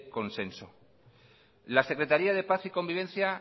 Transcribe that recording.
consenso la secretaría de paz y convivencia